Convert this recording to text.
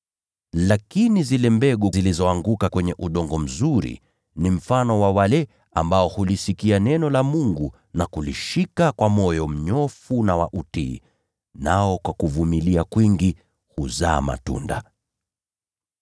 Lakini zile mbegu zilizoanguka kwenye udongo mzuri ni mfano wa wale ambao hulisikia neno la Mungu na kulishika kwa moyo mnyofu wa utiifu, nao kwa kuvumilia kwingi huzaa matunda.